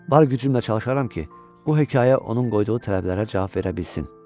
Bar gücümlə çalışaram ki, bu hekayə onun qoyduğu tələblərə cavab verə bilsin.